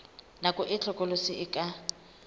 nako e hlokolosi e ka